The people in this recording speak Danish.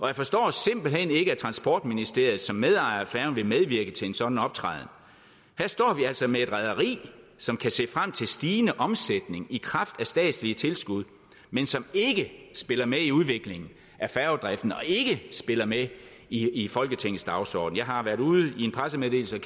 jeg forstår simpelt hen ikke at transportministeriet som medejer af færgen vil medvirke til en sådan optræden her står vi altså med et rederi som kan se frem til stigende omsætning i kraft af statslige tilskud men som ikke spiller med i udviklingen af færgedriften og ikke spiller med i i folketingets dagsorden jeg har været ude med en pressemeddelelse og